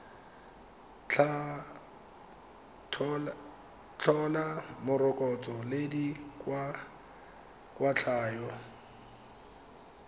tla tlhola morokotso le dikwatlhao